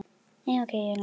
Ég mun koma til baka.